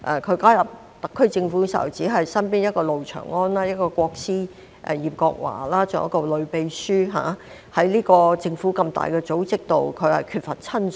他加入特區政府時，身邊只有路祥安，"國師"葉國華，還有一位女秘書，在政府這個大組織內，他缺乏親信。